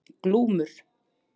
Glúmur